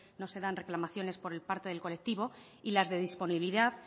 no se dan reclamaciones por el parte del colectivo y las de disponibilidad